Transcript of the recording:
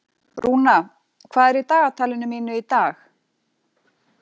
Rúna, hvað er í dagatalinu mínu í dag?